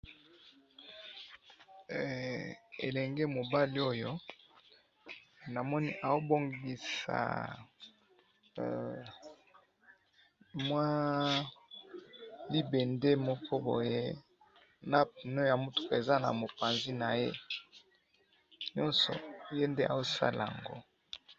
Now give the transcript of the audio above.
Elenge mobali oyo namoni ao bongisa mua libende moko boye na pneu oyo ya mutuka eza na mopanzi na ye ,nionso ye nde azo sala'ango